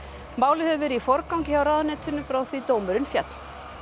málið hefur verið í forgangi hjá ráðuneytinu frá því dómurinn féll